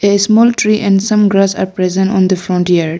A small tree and some grass are present on the front yard.